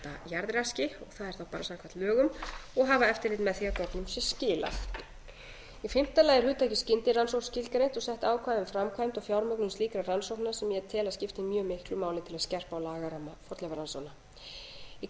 jarðraski og það er þá bara samkvæmt lögum og hafa eftirlit með því að gögnum sé skilað fimmta hugtakið skyndirannsókn er skilgreint og sett ákvæði um framkvæmd og fjármögnun slíkra rannsókna sem ég tel að skipti mjög miklu máli til að skerpa á lagaramma fornleifarannsókna sjötti í